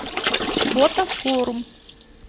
фото форум